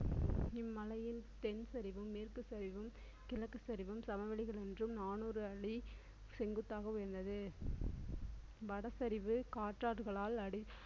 இம்மலையில் தென்சரிவும் மேற்கு சரிவும் கிழக்கு சரிவும் சமவெளிகள் என்றும் நானூறு அடி செங்குத்தாக உயர்ந்தது வடசரிவு காற்றாடுகளால் அடி~